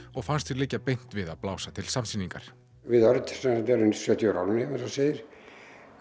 og fannst því liggja beint við að blása til samsýningar við Örn erum sjötíu ára á árinu